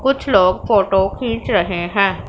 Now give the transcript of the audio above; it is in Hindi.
कुछ लोग फोटो खींच रहे हैं।